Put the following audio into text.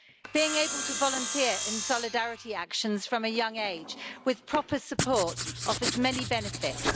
Being able to volunteer in solidarity actions from a young age with proper support offers many benefits.